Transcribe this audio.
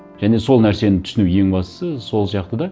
және сол нәрсені түсіну ең бастысы сол сияқты да